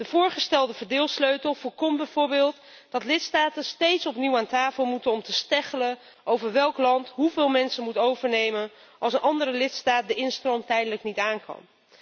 De voorgestelde verdeelsleutel voorkomt bijvoorbeeld dat lidstaten steeds opnieuw aan tafel moeten om te kibbelen over welk land hoeveel mensen moet overnemen als een andere lidstaat de instroom tijdelijk niet aankan.